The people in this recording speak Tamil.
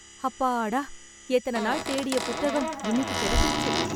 அப்பாடா, எத்தன நாள் தேடிய புத்தகம் இன்னிக்கு கெடைச்சிடுச்சு.